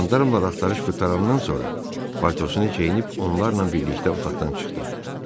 Jandarmlar axtarış qurtarandan sonra paltosunu geyinib onlar ilə birlikdə otaqdan çıxdı.